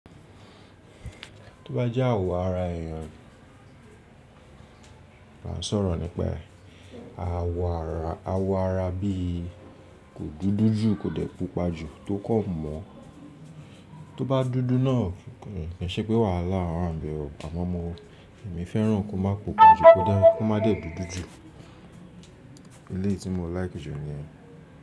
Tó bá jẹ́ àwo ara èèyàn, màá sọ̀rọ̀ nípa ẹ. Àwo ara bí kò dúdú jù kò dẹ̀ pupa jù tó kàn mọ́. Tó bá dúdú náà kì í ṣe pé wàhálà wà ńbẹ̀ o àmọ́ mo èmi fẹ́ràn kó máa pupa jù, kó má dẹ̀ dúdú jù. Eléyì tí mo like jù ni yẹn.